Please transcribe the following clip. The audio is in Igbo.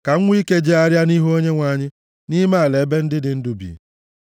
ka m nwee ike jegharịa nʼihu Onyenwe anyị nʼime ala ebe ndị dị ndụ bi.